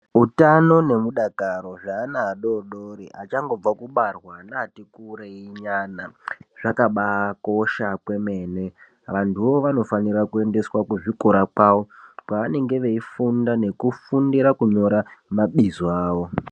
Utano nemudakaro zveana adoodori achangobva kubarwa neati kurei nyana zvakabaakosha kwemene, vantuvo vanofanire kuendeswa kuzvikora kwavo kwevanenge veifundira kunyora mabizo awo.